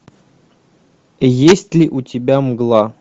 есть ли у тебя мгла